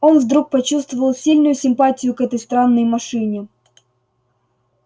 он вдруг почувствовал сильную симпатию к этой странной машине